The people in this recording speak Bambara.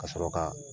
Ka sɔrɔ ka